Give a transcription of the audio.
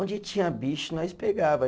Onde tinha bicho, nós pegava